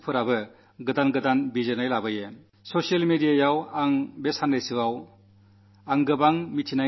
ചിലപ്പോഴൊക്കെ നാം ചിന്തിക്കുന്നതിൽ നിന്നു വ്യത്യസ്തമായി ചിന്തിക്കുന്നവർ പുതിയ പുതിയ അഭിപ്രായങ്ങൾ വച്ചു പുലർത്തുന്നു